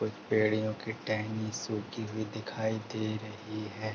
कुछ पड़ियों की टहनी सुखी हुई दिखाई दे रही है।